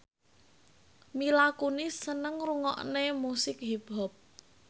Mila Kunis seneng ngrungokne musik hip hop